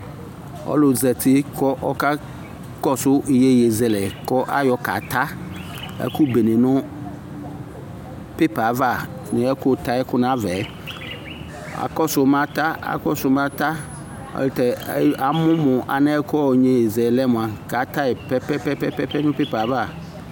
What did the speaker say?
ɔlʋ zati kʋ ɔkakɔsʋ yɛyɛzɛlɛ kʋ ayɔ kata ɛkʋ bɛnɛ nʋ paper aɣa nʋ ɛkʋ ta ɛkʋ nʋ aɣaɛ, akɔsʋ mʋ ata ɛtɛ amʋ mʋ yɛyɛzɛlɛ mʋa atayi pɛpɛɛpɛ nʋ paper aɣa